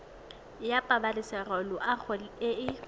ya pabalesego loago e e